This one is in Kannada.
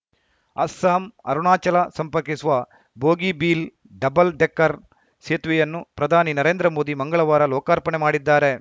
ಅಸ್ಸಾಂಅರುಣಾಚಲ ಸಂಪರ್ಕಿಸುವ ಬೋಗಿಬೀಲ್‌ ಡಬಲ್‌ ಡೆಕ್ಕರ್‌ ಸೇತುವೆಯನ್ನು ಪ್ರಧಾನಿ ನರೇಂದ್ರ ಮೋದಿ ಮಂಗಳವಾರ ಲೋಕಾರ್ಪಣೆ ಮಾಡಿದ್ದಾರೆ